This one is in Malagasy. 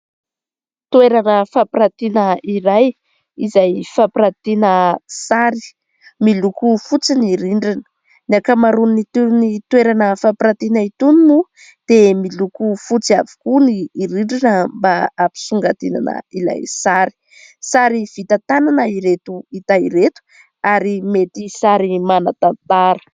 Toerana fampirantiana iray izay fampirantiana sary miloko fotsy ny rindrina. Ny ankamaroany itony toerana fampiratiana itony moa dia miloko fotsy avokoa ny rindrina mba hampisongadinana ilay sary . Sary vita tanana ireto hita ireto ary mety sary manan-tantara.